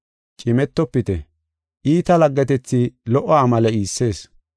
Cimetofite! Iita laggetethi lo77o amale iissees.